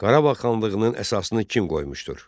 Qarabağ xanlığının əsasını kim qoymuşdur?